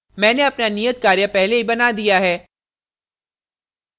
मैंने अपना नियत कार्य पहले ही बना दिया है